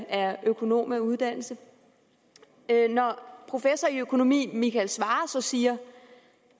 er økonom af uddannelse når professor i økonomi michael svarer siger